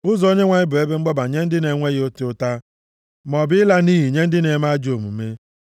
Ụzọ Onyenwe anyị bụ ebe mgbaba nye ndị na-enweghị ịta ụta, maọbụ ịla nʼiyi nye ndị na-eme ajọ ihe.